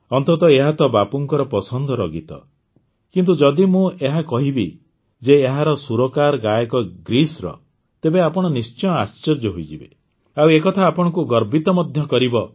ଅନ୍ତତଃ ଏହା ତ ବାପୁଙ୍କ ପସନ୍ଦର ଗୀତ କିନ୍ତୁ ଯଦି ମୁଁ ଏହା କହିବି ଯେ ଏହାର ସୁରକାର ଗାୟକ ଗ୍ରୀସ୍ର ତେବେ ଆପଣ ନିଶ୍ଚୟ ଆଶ୍ଚର୍ଯ୍ୟ ହୋଇଯିବେ ଆଉ ଏ କଥା ଆପଣଙ୍କୁ ଗର୍ବିତ ମଧ୍ୟ କରିବ